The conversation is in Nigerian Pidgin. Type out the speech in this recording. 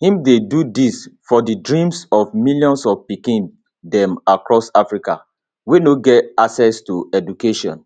im dey do dis for di dreams of millions of pikin dem across africa wey no get access to education